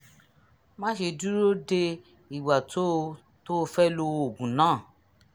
má ṣe dúró de ìgbà tó o tó o fẹ́ lo oògùn náà